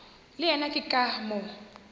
le yena ke ka moo